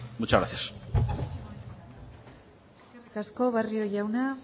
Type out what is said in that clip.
muchas gracias eskerrik asko barrio jauna